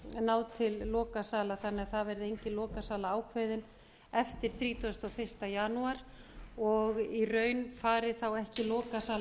náð til lokasala þannig að það verði engin lokasala ákveðin eftir þrítugasta og fyrsta janúar og í raun fari þá ekki lokasala